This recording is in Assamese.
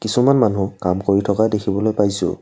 কিছুমান মানুহ কাম কৰি থকা দেখিবলৈ পাইছোঁ।